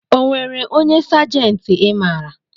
Onwere onye sajenti i maara?